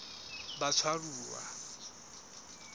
batshwaruwa